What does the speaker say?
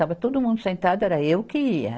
Estava todo mundo sentado, era eu que ia.